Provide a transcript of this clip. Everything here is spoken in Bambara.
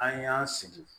An y'an sigi